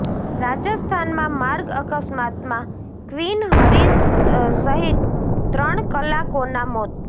રાજસ્થાનમાં માર્ગ અકસ્માતમાં ક્વીન હરીશ સહિત ત્રણ કલાકોના મોત